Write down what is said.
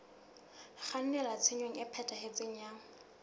kgannela tshenyong e phethahetseng ya